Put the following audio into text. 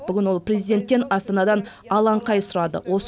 бүгін ол президенттен астанадан алаңқай сұрады